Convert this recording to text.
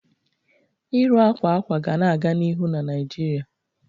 Ịrụ akwa akwa ga na-aga n'ihu na Naijiria.